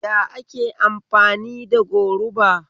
Ya ake amfani da goruba?